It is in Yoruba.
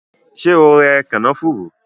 Ṣé o rẹ kànáfùrú?